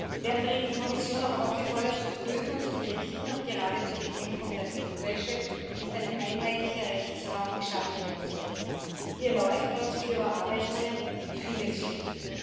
Wir haben auch die Kommission dringend aufgefordert, zu prüfen und zu berichten, ob gerade zur Bekämpfung der Geldwäsche nicht ein einheitlicher Rechtsraum geschaffen werden sollte. Hier läuft trotz vieler Überarbeitungen vieles schief.